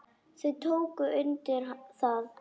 Þau tóku undir það.